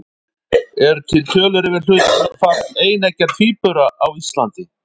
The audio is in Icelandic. Eru til tölur yfir hlutfall eineggja tvíbura á Íslandi?